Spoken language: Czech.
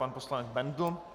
Pan poslanec Bendl.